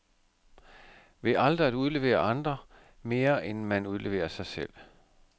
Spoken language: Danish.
Ved aldrig at udlevere andre, mere end man udleverer sig selv.